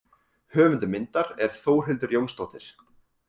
Höfundur myndar er Þórhildur Jónsdóttir.